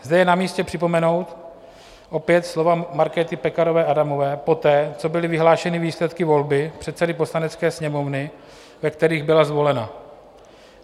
Zde je na místě připomenout opět slova Markéty Pekarové Adamové poté, co byly vyhlášeny výsledky volby předsedy Poslanecké sněmovny, ve kterých byla zvolena.